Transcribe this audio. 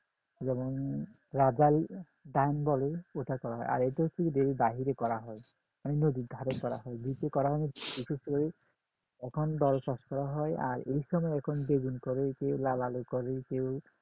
যেমন রাজাই time বলে ওটা করা হয় আর এটা হচ্ছে বাহিরে করা হয় নদীর ধারে করা হয় দ্বীপে করা হয় না এখন দল চাষ করা হয় আর এই সময় এখন বেগুন করে কেও লাল আলু কেও